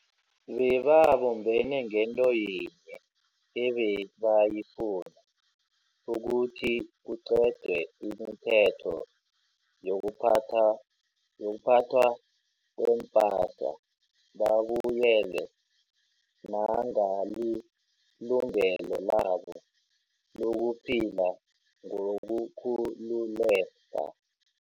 Bebabumbene ngento yinye ebebayifuna, ukuthi kuqedwe imithetho yokuphathwa kweempasa babuyelwe nangalilungelo labo lokuphila ngokukhululeka.